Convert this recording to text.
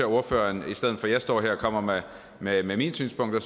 ordføreren i stedet for at jeg står her og kommer med med mine synspunkter